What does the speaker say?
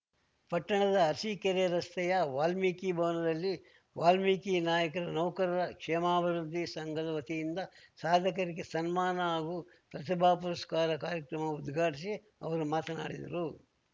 ಪಟ್ಟಣದ ಅರಸಿಕೆರೆ ರಸ್ತೆಯ ವಾಲ್ಮೀಕಿ ಭವನದಲ್ಲಿ ವಾಲ್ಮೀಕಿ ನಾಯಕರ ನೌಕರರ ಕ್ಷೇಮಾಭಿವೃದ್ಧಿ ಸಂಘದ ವತಿಯಿಂದ ಸಾಧಕರಿಗೆ ಸನ್ಮಾನ ಹಾಗೂ ಪ್ರತಿಭಾ ಪುರಸ್ಕಾರ ಕಾರ್ಯಕ್ರಮ ಉದ್ಘಾಟಿಸಿ ಅವರು ಮಾತನಾಡಿದರು